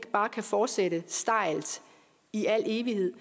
kan fortsætte stejlt i al evighed